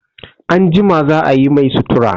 Anjima za a yi mai sutura.